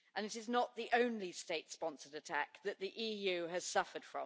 That was not the only state-sponsored attack which the EU has suffered.